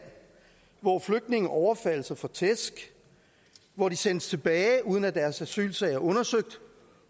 hvor flygtninge overfaldes og får tæsk hvor de sendes tilbage uden at deres asylsag er undersøgt